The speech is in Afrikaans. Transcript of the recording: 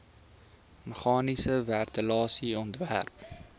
meganiese ventilasie ontwerp